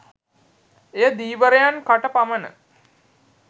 එය ධීවරයන් කට පමන